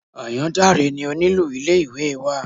Àyàndáre ni onílù ilé ìwé wa.